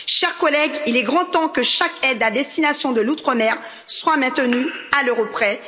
Chers collègues, il est grand temps que chaque aide à destination de l'Outre mer soit maintenue à l'euro près.